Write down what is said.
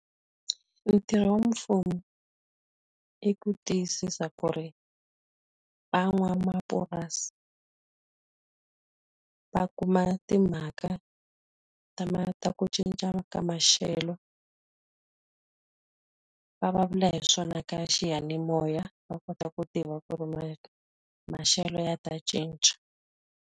Ntirho wa mfumo i ku tiyisisa ku ri van'wamapurasi va kuma timhaka ta ta ku cinca ka maxelo. Va vulavula hi swona ka xiyanimoya va kota ku tiva ku ri maxelo ya ta cinca.